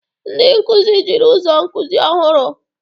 Ndị nkuzi jiri ụzọ nkuzi ọhụrụ.